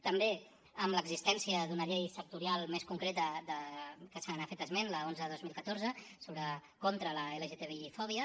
també amb l’existència d’una llei sectorial més concreta que se n’ha anat fet esment l’onze dos mil catorze contra l’lgtbifòbia